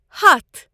ہتھَ